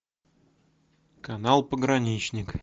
канал пограничник